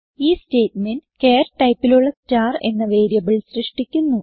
ഈ statement char typeലുള്ള star എന്ന വേരിയബിൾ സൃഷ്ടിക്കുന്നു